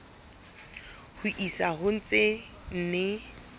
ho isa ho tse nne